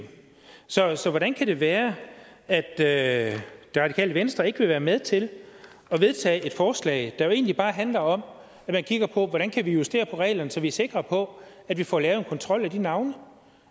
så så hvordan kan det være at at det radikale venstre ikke vil være med til at vedtage et forslag der egentlig bare handler om at vi kigger på hvordan vi kan justere på reglerne så vi er sikre på at vi får lavet en kontrol af de navne og